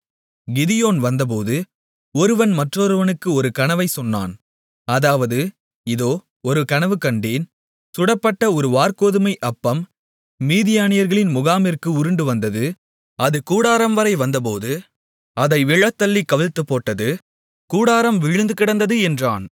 கிதியோன் வந்தபோது ஒருவன் மற்றொருவனுக்கு ஒரு கனவைச் சொன்னான் அதாவது இதோ ஒரு கனவுகண்டேன் சுடப்பட்ட ஒரு வாற்கோதுமை அப்பம் மீதியானியர்களின் முகாமிற்கு உருண்டுவந்தது அது கூடாரம்வரை வந்தபோது அதை விழத்தள்ளிக் கவிழ்த்துப்போட்டது கூடாரம் விழுந்துகிடந்தது என்றான்